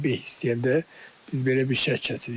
Bizdə beh istəyəndə biz belə bir şərt kəsirik.